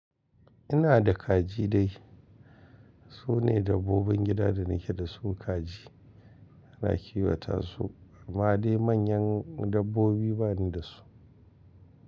Ina da kaji dai. Su ne dabbobin gida da nake da su kaji. Ana kiwata su amma dai manyan dabbobi ba ni da su.